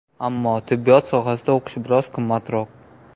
Ammo tibbiyot sohasida o‘qish biroz qimmatroq.